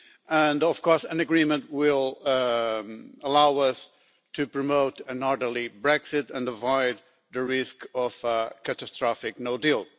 And of course, an agreement will allow us to promote an orderly Brexit and avoid the risk of a catastrophic no-deal.